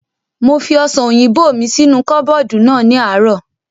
Mo fi ọ̀sàn òyìnbó mi sínú kọ́bọ̀dù náà ní àárọ̀